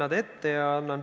Aitäh, lugupeetud juhataja!